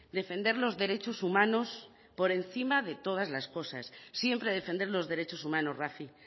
defender los derechos humanos por encima de todas las cosas siempre defender los derechos humanos rafi